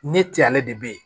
Ne te ale de be yen